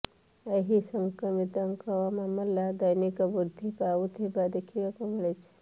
ଏହି ସଂକ୍ରମିତଙ୍କ ମାମଲା ଦୈନିକ ବୃଦ୍ଧି ପାଉଥିବା ଦେଖିବାକୁ ମିଳିଛି